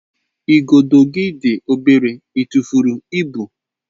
Igodo gị dị obere, ị tụfuru ibu?